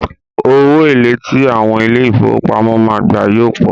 Owó èlé tí àwọn ilé ìfowópamọ́ máa gbà yóò pọ̀.